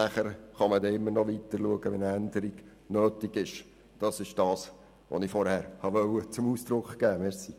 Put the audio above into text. Wenn Änderungen nötig sind, kann man immer noch weiterschauen.